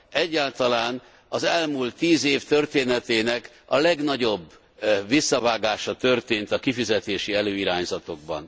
Egyáltalán, az elmúlt tíz év történetének a legnagyobb visszavágása történt a kifizetési előirányzatokban.